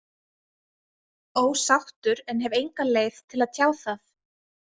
Ósáttur en hef enga leið til að tjá það.